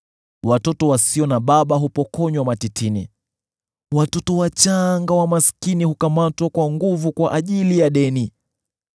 Mtoto yatima hupokonywa matitini; mtoto wachanga wa maskini hunyakuliwa kwa ajili ya deni.